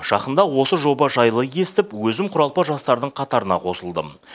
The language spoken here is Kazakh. жақында осы жоба жайлы естіп өзім құралпы жастардың қатарына қосылдым